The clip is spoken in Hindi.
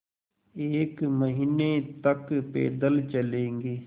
एक महीने तक पैदल चलेंगे